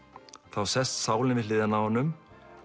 þá sest sálin við hliðina á honum